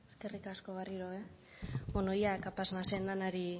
zurea da hitza eskerrik asko berriro be bueno ea kapaz nazen danari